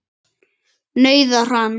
nauðar hann.